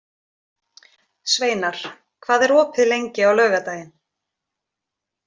Sveinar, hvað er opið lengi á laugardaginn?